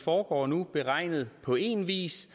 foregår nu beregnet på én vis